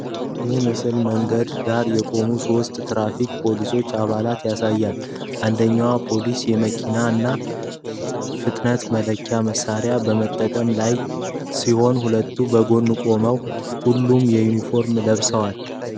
ይህ ምስል በመንገድ ዳር የቆሙ ሶስት የትራፊክ ፖሊስ አባላትን ያሳያል። አንደኛው ፖሊስ የመኪናን ፍጥነት መለኪያ መሳሪያ በመጠቀም ላይ ሲሆን፥ ሁለቱ በጎን ቆመዋል። ሁሉም ዩኒፎርም ለብሰዋል።